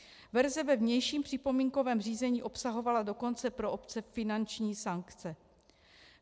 Verze ve vnějším připomínkovém řízení obsahovala dokonce pro obce finanční sankce.